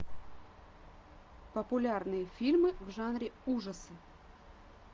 популярные фильмы в жанре ужасы